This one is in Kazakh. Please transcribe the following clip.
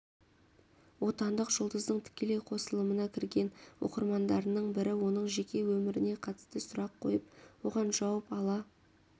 отандық жұлдыздың тікелей қосылымына кірген оқырмандарының бірі оның жеке өміріне қатысты сұрақ қойып оған жауап ала